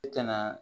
I kana